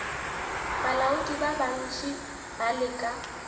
balaodi ba bantši ba leka